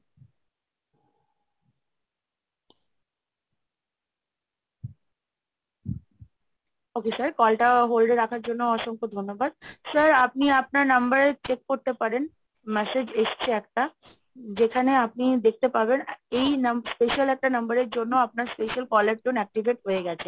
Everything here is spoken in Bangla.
okay sir call টা hold এ রাখার জন্য অসংখ্য ধন্যবাদ। Sir আপনি আপনার number এ check করতে পারেন Message এসছে একটা, যেখানে আপনি দেখতে পাবেন এই নাম special একটা number এর জন্য আপনার special call tone activate হয়ে গেছে।